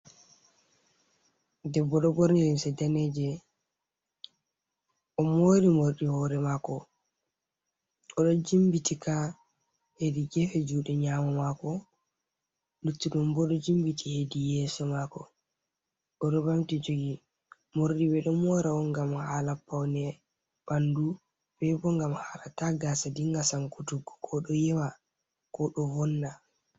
Debbo borni limse ndaneje oɗo mori morɗi hore mako, oɗo jimbitika, hedi gefe juɗe nyamo mako, luttuɗum bo odo jimbiti hedi yeso mako, oɗo bamti jogi morɗi ɓe ɗo mora on gam hala paune bandu, ndenbo gam hala ta gaasa dinga sankutuggo, ko ɗo yewa ko ɗo wonna.